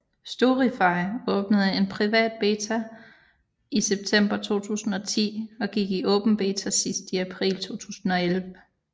Storify åbnede i en privat beta i september 2010 og gik i åben beta sidst i april 2011